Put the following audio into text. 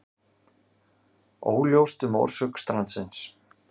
Óljóst um orsök strandsins